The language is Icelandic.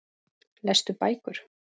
Lestu bækur?